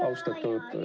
Aitäh!